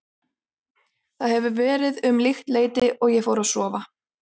Það hefur verið um líkt leyti og ég fór að sofa.